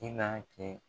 I n'a kɛ